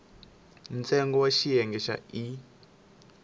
ntsengo wa xiyenge xa e